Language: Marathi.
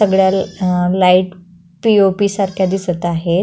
सगड्या अ लाइट पी.ओ.पी सारख्या दिसत आहेत.